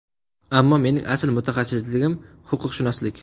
Ammo mening asl mutaxassisligim – huquqshunoslik.